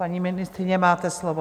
Paní ministryně, máte slovo.